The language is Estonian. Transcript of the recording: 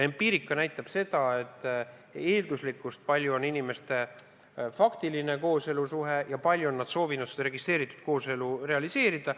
Empiirika näitab eelduslikkust, kui palju on inimestel faktilist kooselusuhet ja kui palju on nad soovinud seda registreeritud kooselu realiseerida.